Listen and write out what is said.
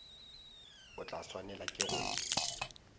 o tla swanela ke go